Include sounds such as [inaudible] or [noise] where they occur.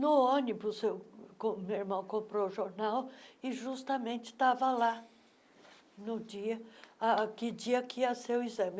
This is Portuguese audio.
No ônibus, [unintelligible] meu irmão comprou o jornal e justamente estava lá no dia ah que dia que ia ser o exame.